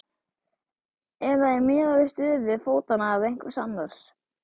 Eða er miðað við stöðu fótanna eða einhvers annars?